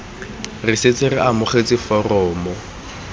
re setse re amogetse foromo